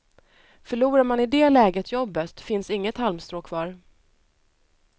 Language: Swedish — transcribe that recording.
Förlorar man i det läget jobbet finns inget halmstrå kvar.